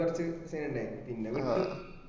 കൊറച്ചു scene ഇണ്ടായ് പിന്ന വിട്ടു